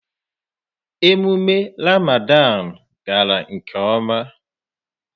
emume Ramadan gara nke oma.